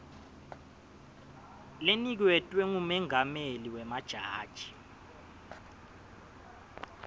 leniketwe ngumengameli wemajaji